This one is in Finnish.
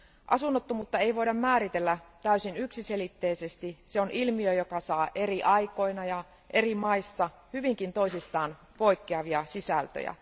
Asunnottomuutta ei voida määritellä täysin yksiselitteisesti se on ilmiö, joka saa eri aikoina ja eri maissa hyvinkin toisistaan poikkeavia sisältöjä.